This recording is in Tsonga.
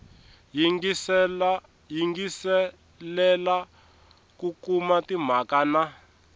yingiselela ku kuma timhaka na